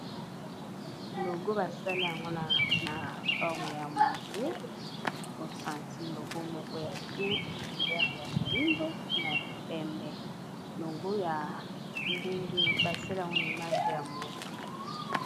Logo basali yango na forme ya moto osantir logo moko ya bien couleur ya moyindo na ya pembe logo ya ndenge basali yango na image ya motu.